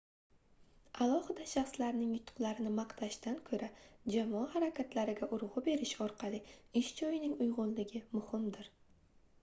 alohida shaxslarning yutuqlarini maqtashdan koʻra jamoa harakatlariga urgʻu berish orqali ish joyining uygʻunligi muhumdir